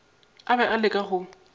a be a leka go